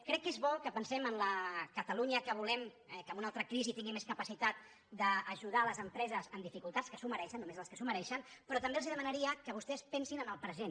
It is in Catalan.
crec que és bo que pensem en la catalunya que volem eh que en una altra crisi tingui més capacitat d’ajudar les empreses en dificultats que s’ho mereixen només les que s’ho mereixen però també els demanaria que vostès pensin en el present